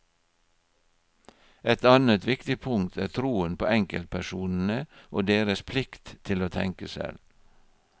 Et annet viktig punkt er troen på enkeltpersonene og deres plikt til å tenke selv.